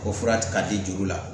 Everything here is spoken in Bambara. O fura ka di juru la